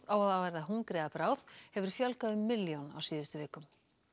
á að verða hungri að bráð hefur fjölgað um milljón á síðustu vikum